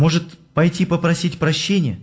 может пойти попросить прощения